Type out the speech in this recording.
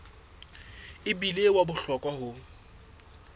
e bile wa bohlokwa ho